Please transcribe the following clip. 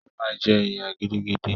O ma ji ìyà gidigidi.